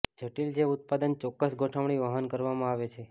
જટિલ જે ઉત્પાદન ચોક્કસ ગોઠવણી વહન કરવામાં આવે છે